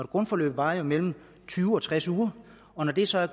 grundforløb varer jo mellem tyve og tres uger og når det så er